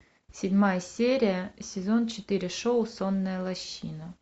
седьмая серия сезон четыре шоу сонная лощина